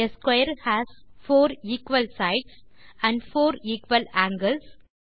ah square has four equal sides and four equal angles